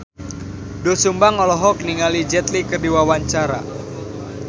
Doel Sumbang olohok ningali Jet Li keur diwawancara